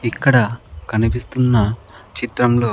ఇక్కడ కనిపిస్తున్న చిత్రంలో--